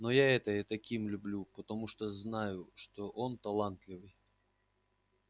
но я это и таким люблю потому что знаю что он талантливый